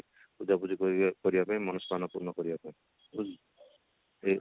ପୂଜା ପୂଜି କରିବା ପାଇଁ ମନସ୍କାମନା ପୂରଣ କରିବା ପାଇଁ